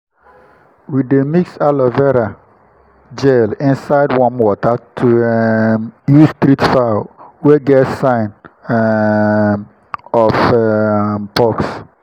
we dey mix aloe vera gel inside warm water to um use treat fowl wey get sign um of um pox.